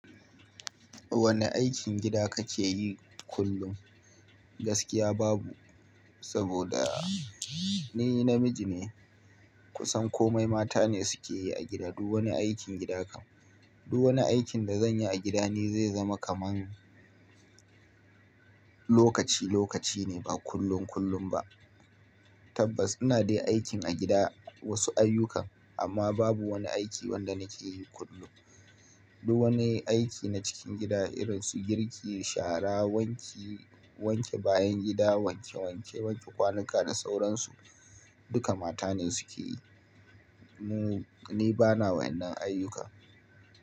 Wane aikin gida kake yi kullum? Gaskiya babu, saboda ni namiji ne. Kusan komai matane sukeyi a gidan. Duk wani aikin gida kan-- duk wani aikin da zan yi a gida ne zai zama kamar lokaci-lokaci ne, ba kullum-kullum ba. Tabbas ina dai aikin a gida wasu ayyukan, amma babu wani aiki wanda nake yi kullum. Duk wani aiki na cikin gida irin su girki, shara, wanke, wanke bayan gida, wanke wanke kwanuka da sauransu, duka mata ne suke yi. Mu-- ni bana wannan ayyuka.